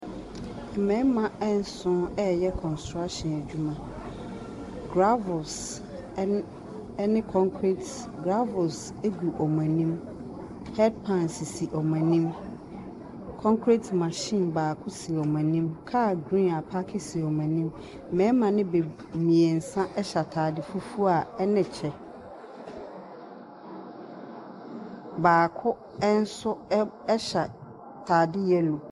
Mmarima nson reyɛ construction adwuma. Gravels ne concrete graves sisi wɔn anim. Concrete machine baako si wɔn anim. Car green apaake si wɔn anim. Mmarima no bebree nso hyɛ ataade fufuo a ne kyɛ. Baako nso hyɛ ataade yelloɛ.